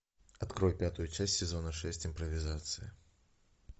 открой пятую часть сезона шесть импровизация